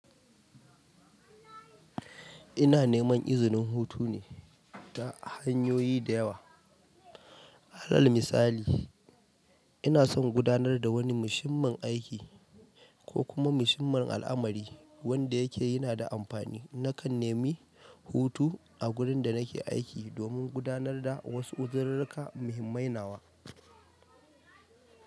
Ina neman izinin hutu ne ta hanyoyi da yawa. Halal misali, ina son gudanar da wani mushinmun aiki ko kuma mushin mun al'amari wanda yake yana da amfani na kan nemi hutu a gurin da nake aiki domin gudanar da wasu uzirirka muhimmai nawa.